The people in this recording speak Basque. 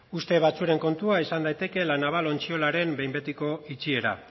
urte batzuen kontua izan daiteke la naval ontziolaren behinbetiko itxiera